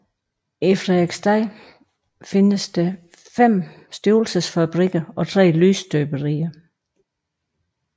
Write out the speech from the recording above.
I Frederiksstad fandtes 5 stivelsesfabrikker og 3 lysestøberier